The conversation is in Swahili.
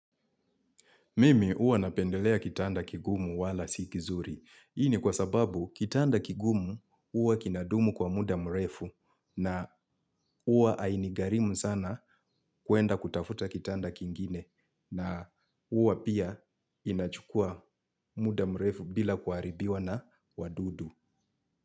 Mimi huwa napendelea kitanda kigumu wala si kizuri. Hii kwa sababu kitanda kigumu huwa kinadumu kwa muda mrefu na huwa hainigharimu sana kuenda kutafuta kitanda kingine na huwa pia inachukua muda mrefu bila kuharibiwa na wadudu.